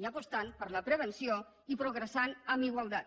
i apostant per la prevenció i progressant amb igualtat